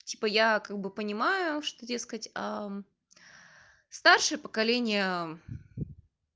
типо я как бы понимаю что тебе сказать старшее поколение